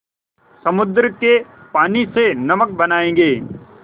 समुद्र के पानी से नमक बनायेंगे